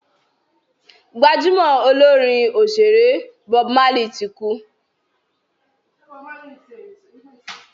gbajúmò Olorin òṣèré Bob Marley tí kú